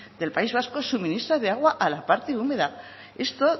del país vasco suministra de agua a la parte húmeda esto